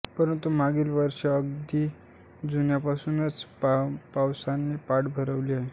परंतु मागील वर्षी अगदी जूनपासुनच पावसाने पाठ फरवली आहे